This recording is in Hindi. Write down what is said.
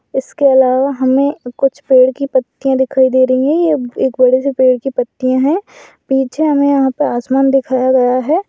इसके अलावा हमें कुछ पेड़ के पत्तिया दिखाई दे रही है ये एक बड़े से पेड़ की पत्तियां है पीछे हमें यहां पे आसमान दिखाया गया है।